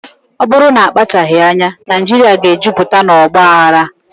Ọ bụrụ na akpachaghị anya, Naijiria ga-ejupụta na ọgba aghara.